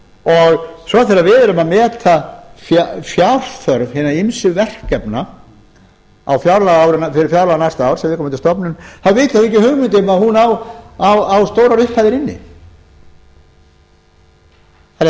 inneign svo þegar við erum að meta fjárþörf hinna ýmsu verkefna fyrir fjárlög næsta árs fyrir viðkomandi stofnun þá hafa þeir ekki hugmynd um að hún á stórar upphæðir inni en ef